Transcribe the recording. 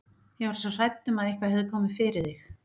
Ég var svo hrædd um að eitthvað hefði komið fyrir þig.